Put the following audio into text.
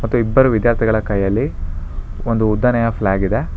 ಮತ್ತೆ ಇಬ್ಬರು ವಿದ್ಯಾರ್ಥಿಗಳ ಕೈಯಲ್ಲಿ ಒಂದು ಉದ್ದನೆಯ ಫ್ಲಾಗ್ ಇದೆ.